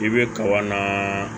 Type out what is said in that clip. I bɛ kaba na